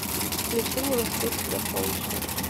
включи мне в москве всегда солнечно